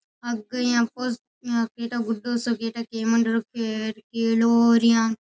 आगे यह पर एटा कुद्दु सा गेट है।